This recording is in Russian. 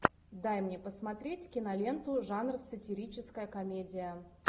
дай мне посмотреть киноленту жанр сатирическая комедия